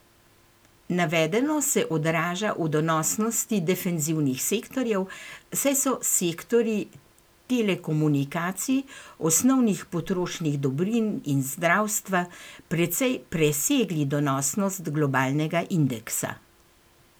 Navedeno se odraža v donosnosti defenzivnih sektorjev, saj so sektorji telekomunikacij, osnovnih potrošnih dobrin in zdravstva precej presegli donosnost globalnega indeksa.